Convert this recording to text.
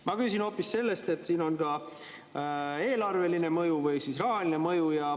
Ma küsin hoopis selle kohta, et siin on ka eelarveline mõju või rahaline mõju.